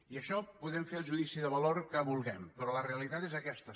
i d’això podem fer el judici de valor que vulguem però la realitat és aquesta